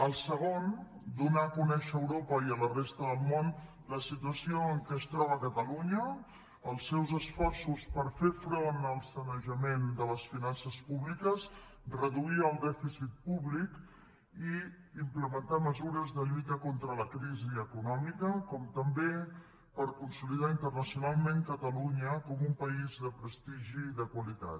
el segon donar a conèixer a europa i a la resta del món la situació en què es troba catalunya els seus esforços per fer front al sanejament de les finances públiques reduir el dèficit públic i implementar mesures de lluita contra la crisi econòmica com també per consolidar internacionalment catalunya com un país de prestigi i de qualitat